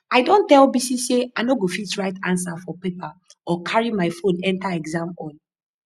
i don tell bisi say i no go fit write answer for paper or carry my phone enter exam hall